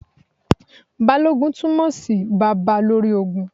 Balógun túmọ̀ sí Baba lórí ogun.